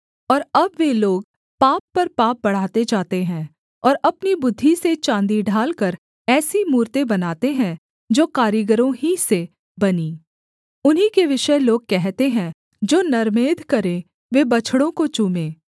और अब वे लोग पाप पर पाप बढ़ाते जाते हैं और अपनी बुद्धि से चाँदी ढालकर ऐसी मूरतें बनाते हैं जो कारीगरों ही से बनीं उन्हीं के विषय लोग कहते हैं जो नरमेध करें वे बछड़ों को चूमें